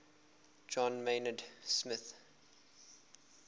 john maynard smith